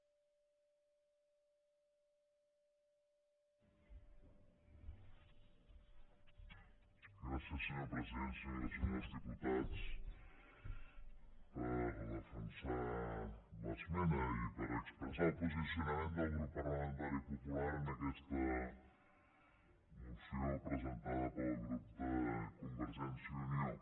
senyores i senyors diputats per defensar l’esmena i per expressar el posicionament del grup parlamentari popular en aquesta moció presentada pel grup de convergència i unió